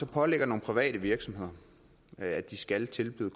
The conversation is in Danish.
pålægger nogle private virksomheder at de skal tilbyde